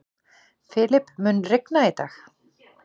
Filip, mun rigna í dag?